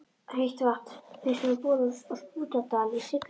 Heitt vatn fannst við borun á Skútudal í Siglufirði.